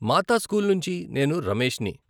మాతా school నుంచి నేను రమేష్ని.